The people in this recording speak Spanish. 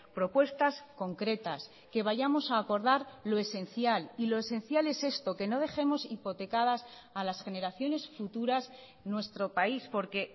propuestas concretas que vayamos a acordar lo esencial y lo esencial es esto que no dejemos hipotecadas a las generaciones futuras nuestro país porque